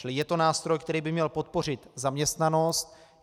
Čili je to nástroj, který by měl podpořit zaměstnanost.